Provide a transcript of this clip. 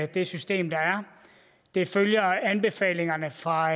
det system der er det følger anbefalingerne fra